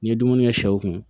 N ye dumuni kɛ sɛw kun